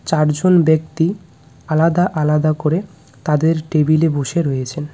চারজন ব্যক্তি আলাদা আলাদা করে তাদের টেবিলে এ বসে রয়েছেন।